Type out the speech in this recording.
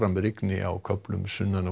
rigni á köflum sunnan og